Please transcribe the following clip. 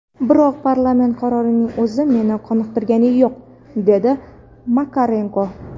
Biroq parlament qarorining o‘zi meni qoniqtirgani yo‘q”, dedi Makarenko.